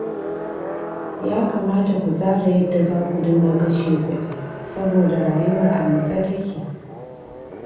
Ya kamata ku tsara yadda za ku dinga kashe kuɗi saboda rayuwar a matse take